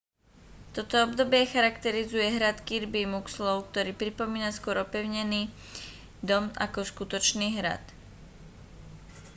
toto obdobie charakterizuje hrad kirby muxloe ktorý pripomína skôr opevnený dom ako skutočný hrad